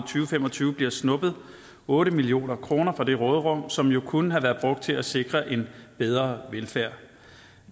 fem og tyve bliver snuppet otte million kroner fra det råderum som jo kunne have været brugt til at sikre en bedre velfærd